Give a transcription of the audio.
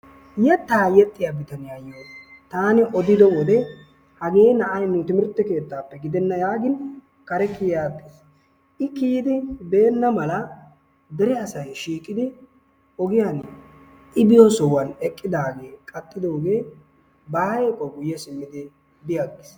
Yettaa yexxiya bitaniyayyo taani odido wode hagee na'ay nu timirtte keettaappe gidenna yaagin kare kiyiyaggiis. I kiyidi beenna mala dere asay shiiqidi ogiyani I biyo sohuwani eqqidaagee qaxxidoogew ba aayeekko guyye simmidi biyaggiis.